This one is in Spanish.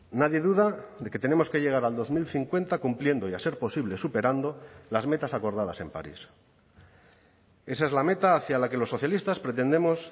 nadie duda de que tenemos que llegar al dos mil cincuenta cumpliendo y a ser posible superando las metas acordadas en parís esa es la meta hacia la que los socialistas pretendemos